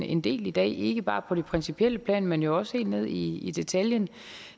en del i dag ikke bare på det principielle plan men jo også helt ned i i detaljen